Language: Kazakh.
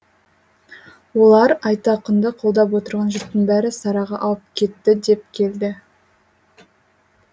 олар айтақынды қолдап отырған жұрттың бәрі сараға ауып кетті деп келді